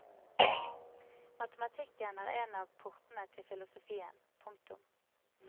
Matematikken er en av portene til filosofien. punktum